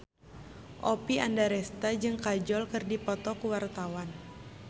Oppie Andaresta jeung Kajol keur dipoto ku wartawan